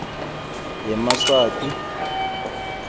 yemaswati